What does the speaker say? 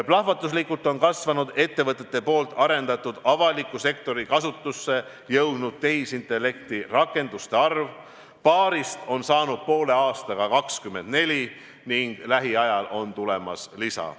Plahvatuslikult on kasvanud ettevõtete arendatud avaliku sektori kasutusse jõudnud tehisintellekti rakenduste arv – paarist on saanud poole aastaga 24 ning lähiajal on tulemas lisa.